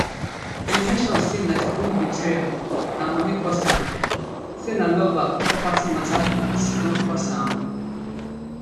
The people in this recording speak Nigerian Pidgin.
e mention say na di groom betrayal and money cause am say na lover or property mata fit don cause am